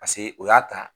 Paseke o y'a ta